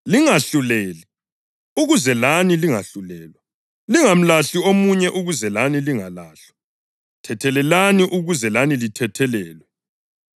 “Lingahluleli ukuze lani lingahlulelwa. Lingamlahli omunye ukuze lani lingalahlwa. Thethelelani ukuze lani lithethelelwe.